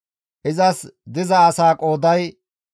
Izas diza asaa qooday 57,400.